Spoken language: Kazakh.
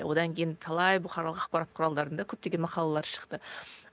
одан кейін талай бұқаралық ақпарат құралдарында көптеген мақалалар шықты